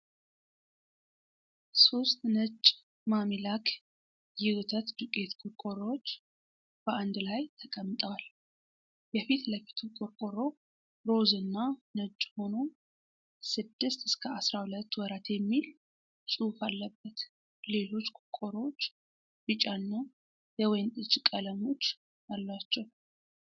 ሶስት ነጭ ማሚ ላክ የወተት ዱቄት ቆርቆሮዎች በአንድ ላይ ተቀምጠዋል:: የፊት ለፊቱ ቆርቆሮ ሮዝ እና ነጭ ሆኖ 6-12 ወራት የሚል ፅሁፍ አለበት:: ሌሎች ቆርቆሮዎች ቢጫ እና ወይንጠጅ ቀለሞች አሏቸው::